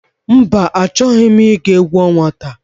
Mba achọghị m ị ga egwu ọnwa taa.